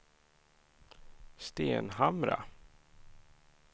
Stenhamra